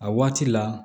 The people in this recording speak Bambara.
A waati la